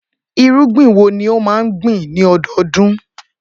Irúgbìn wo ni ó máa ń gbìn lọ́dọọdún?